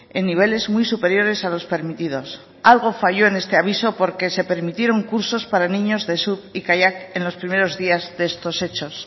en niveles muy superiores a los permitidos algo falló en este aviso porque se permitieron cursos para niños de surf y kayak en los primeros días de estos hechos